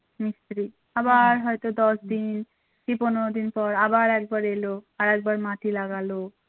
কি পনেরো দিন পর আবার একবার এলো আর একবার মাটি লাগাল